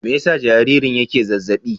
Me yasa jaririn yake zazzaɓi?